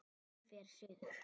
Hún fer suður.